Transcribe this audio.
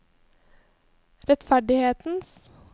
rettferdighetens